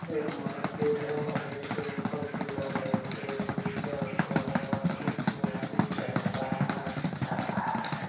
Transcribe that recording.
एक मार्केट है मार्केट के ऊपर पिलर है पिलर के नीचे ऑटो है ऑटो में आदमी बैठ रहा है चढ़ रहा है।